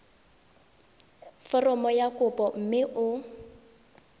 foromo ya kopo mme o